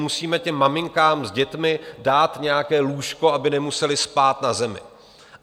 Musíme těm maminkám s dětmi dát nějaké lůžko, aby nemusely spát na zemi.